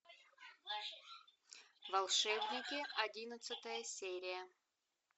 волшебники одиннадцатая серия